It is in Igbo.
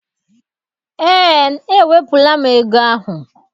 Eé, ewepụla m ego ahụ.